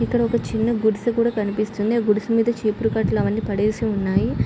ఇక్కడ ఒక చిన్న గుడిసె కనిపిస్తుంది గుడిసె మీద చీపురు కట్టలు అవన్నీ పడేసి ఉన్నాయి.